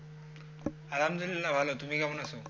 আলহামদুলিল্লা ভালো তুমি কেমন আছো?